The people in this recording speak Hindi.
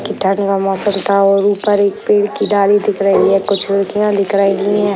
कीटाणु का मौसम था और ऊपर एक पेड़ की डाली दिख रही है कुछ लड़कियां दिख रही हैं।